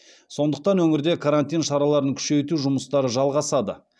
сондықтан өңірде карантин шараларын күшейту жұмыстары жалғасады